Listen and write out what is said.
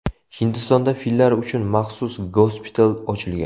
Hindistonda fillar uchun maxsus gospital ochilgan.